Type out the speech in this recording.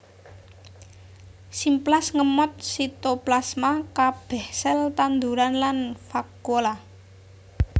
Simplas ngemot sitoplasma kabeh sel tanduran lan vakuola